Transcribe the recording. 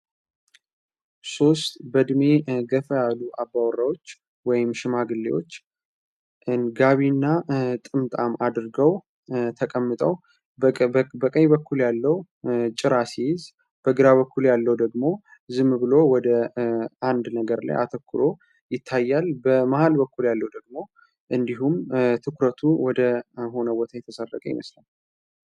ሶስት በድሜ ገፈ ያሉ አባወራዎች ሽማግሌዎች ንጋቢ እና ጥምጣም አድርገው ተቀምጠው በቀይ በኩል ያለው ጭራ ሲይዝ በግራ በኩል ያለው ደግሞ ዝም ብሎ ወደ አንድ ነገር ላይ አተኩሮ ይታያል በማሃል በኩል ያለው ደግሞ እንዲሁም ትኩረቱ ወደ ሆነወታ የተሳረገ ይነስለው